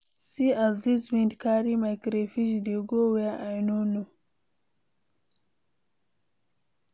See as dis wind carry my crayfish dey go where I no know.